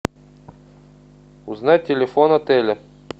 узнать телефон отеля